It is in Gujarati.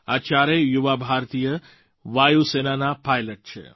આ ચારેય યુવા ભારતીય વાયુ સેનાના પાઇલૉટ છે